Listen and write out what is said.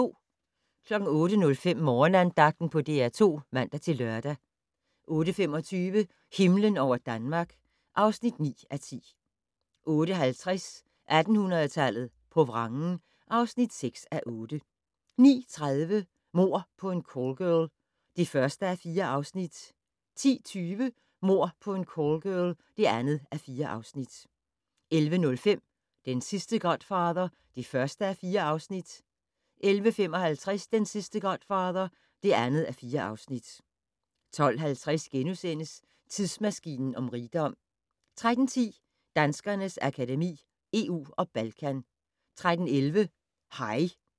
08:05: Morgenandagten på DR2 (man-lør) 08:25: Himlen over Danmark (9:10) 08:50: 1800-tallet på vrangen (6:8) 09:30: Mord på en callgirl (1:4) 10:20: Mord på en callgirl (2:4) 11:05: Den sidste godfather (1:4) 11:55: Den sidste godfather (2:4) 12:50: Tidsmaskinen om rigdom * 13:10: Danskernes Akademi: EU og Balkan 13:11: Hej!